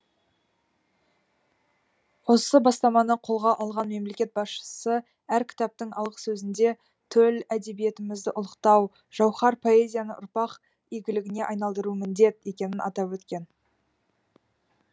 осы бастаманы қолға алған мемлекет басшысы әр кітаптың алғысөзінде төл әдебиетімізді ұлықтау жауһар поэзияны ұрпақ игіліне айналдыру міндет екенін атап өткен